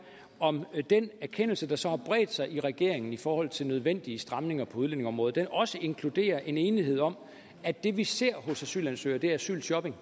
om den erkendelse der så har bredt sig i regeringen i forhold til nødvendige stramninger på udlændingeområdet også inkluderer en enighed om at det vi ser hos asylansøgere er asylshopping